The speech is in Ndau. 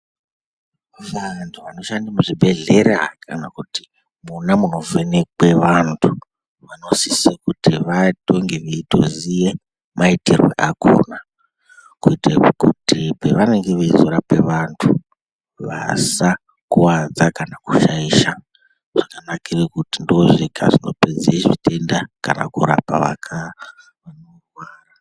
Vantu vanoshande muzvibhedhlera kana kuti, mwona munovhenekwe vantu vanosise kuti vatonge vveitoziye maitirwe akhona kuitire kuti pevanenge veizorape vantu, vasakuwadza kana kushaisha. Zvakanakire kuti ndozvega zvinopedze zvitenda kana kurapa vakarwara